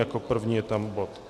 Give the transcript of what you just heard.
Jako první je tam bod